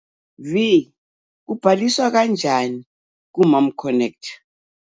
v Kubhaliswa kanjani kuMomConnect.